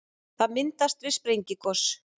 það myndast við sprengigos